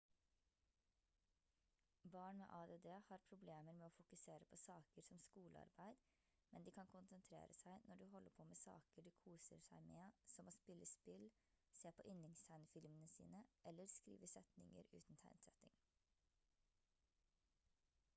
barn med add har problemer med å fokusere på saker som skolearbeid men de kan konsentrere seg når de holder på med saker de koser seg med som å spille spill se på yndlingstegnefilmene sine eller skrive setninger uten tegnsetting